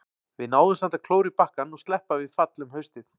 Við náðum samt að klóra í bakkann og sleppa við fall um haustið.